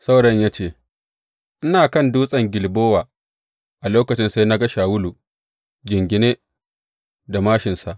Saurayin ya ce, Ina kan dutsen Gilbowa a lokacin sai na ga Shawulu jingine a māshinsa.